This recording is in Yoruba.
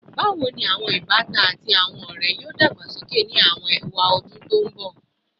Bawo ni awọn ibatan ati awọn ọrẹ yoo dagbasoke ni awọn ewadun to nbọ?